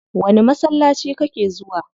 Wani masallaci kake zuwa?